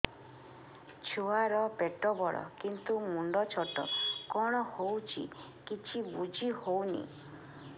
ଛୁଆର ପେଟବଡ଼ କିନ୍ତୁ ମୁଣ୍ଡ ଛୋଟ କଣ ହଉଚି କିଛି ଵୁଝିହୋଉନି